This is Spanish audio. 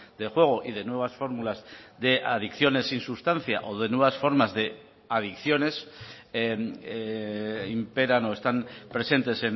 de juego y de nuevas fórmulas de adicciones sin sustancia o de nuevas formas de adicciones imperan o están presentes